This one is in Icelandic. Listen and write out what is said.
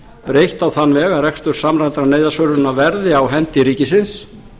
breytt á þann veg að rekstur samræmdrar neyðarsvörunar verði á hendi ríkisins